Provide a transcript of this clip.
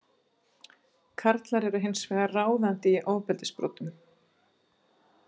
Karlar eru hins vegar ráðandi í ofbeldisbrotum.